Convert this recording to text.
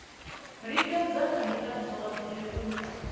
lingedza nga ndila dzothe u